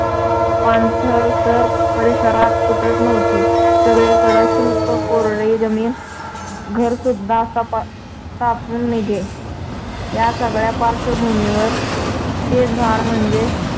पाणथळ तर परिसरात कुठंच नव्हती. सगळीकडं शुष्क कोरडी जमीन घरसुद्धा तापून निघे. या सगळ्या पार्श्‍वभूमीवर ते झाड म्हणजे